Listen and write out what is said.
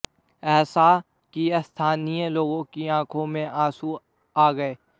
ऐसा कि स्थानीय लोगों की आंखों में आंसू आ गए